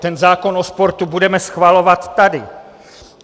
Ten zákon o sportu budeme schvalovat tady.